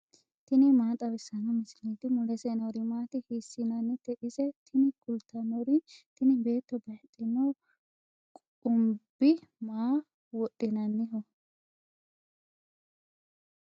tini maa xawissanno misileeti ? mulese noori maati ? hiissinannite ise ? tini kultannori tini beetto bayiidhino qumbi maa wodhinanniho.